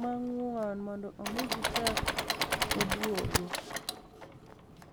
manig'woni monido omi gichak oduogo".